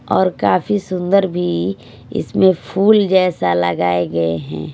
और काफी सुंदर भी इसमें फूल जैसा लगाए गए हैं।